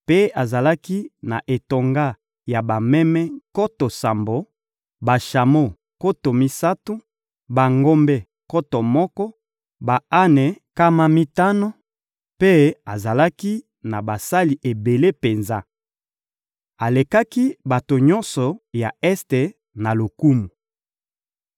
mpe azalaki na etonga ya bameme nkoto sambo, bashamo nkoto misato, bangombe nkoto moko, ba-ane nkama mitano, mpe azalaki na basali ebele penza. Alekaki bato nyonso ya Este na lokumu.